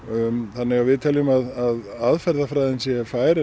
þannig að við teljum að aðferðafræðin sé fær